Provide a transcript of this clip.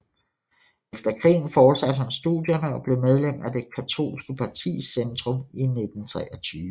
Efter krigen fortsatte han studierne og blev medlem af det katolske parti Zentrum i 1923